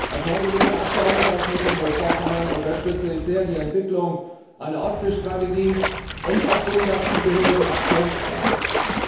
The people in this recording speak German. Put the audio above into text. Als neu gewählter Abgeordneter aus Mecklenburg Vorpommern unterstütze ich die Entwicklung einer Ostsee Strategie und auch den dazugehörigen Aktionsplan sehr.